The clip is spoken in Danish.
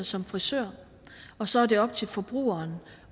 som frisør og så er det op til forbrugeren